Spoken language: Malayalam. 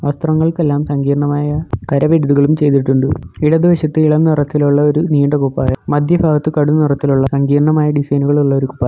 വസ്ത്രങ്ങൾക്കെല്ലാം സങ്കീർണമായ കരവിരുതുകളും ചെയ്തിട്ടുണ്ട് ഇടതു വശത്ത് ഇളം നിറത്തിലുള്ള ഒരു നീണ്ട കുപ്പായം മധ്യഭാഗത്തു കടും നിറത്തിലുള്ള സങ്കീർണമായ ഡിസൈനുകൾ ഉള്ളൊരു കുപ്പായം.